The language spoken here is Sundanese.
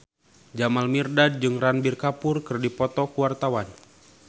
Jamal Mirdad jeung Ranbir Kapoor keur dipoto ku wartawan